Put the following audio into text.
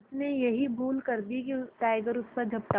उसने यही भूल कर दी टाइगर उस पर झपटा